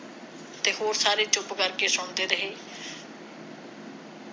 ਤੇ ਹੋਰ ਸਾਰੇ ਚੁੱਪ ਕਰਦੇ ਸੁਣਦੇ ਰਹੇ